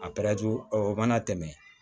A o mana tɛmɛ